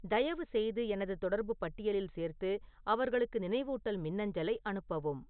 தயவுசெய்து எனது தொடர்பு பட்டியலில் சேர்த்து அவர்களுக்கு நினைவூட்டல் மின்னஞ்சலை அனுப்பவும்